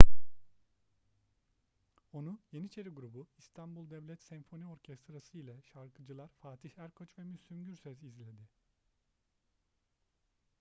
onu yeniçeri grubu i̇stanbul devlet senfoni orkestrası ile şarkıcılar fatih erkoç ve müslüm gürses izledi